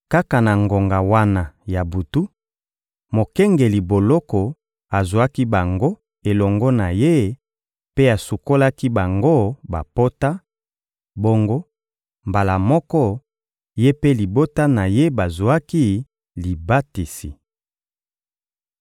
Kaka na ngonga wana ya butu, mokengeli boloko azwaki bango elongo na ye mpe asukolaki bango bapota; bongo, mbala moko, ye mpe libota na ye bazwaki libatisi.